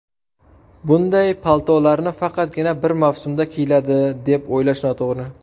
Bunday paltolarni faqatgina bir mavsumda kiyiladi, deb o‘ylash noto‘g‘ri.